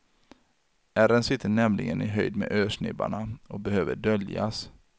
Ärren sitter nämligen i höjd med örsnibbarna och behöver döljas.